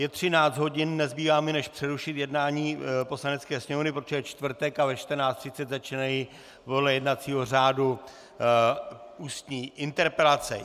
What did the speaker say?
Je 13 hodin, nezbývá mi než přerušit jednání Poslanecké sněmovny, protože je čtvrtek a ve 14.30 začínají podle jednacího řádu ústní interpelace.